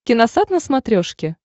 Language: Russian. киносат на смотрешке